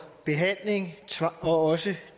behandling og også